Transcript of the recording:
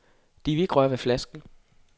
De ville ikke røre ved flasken.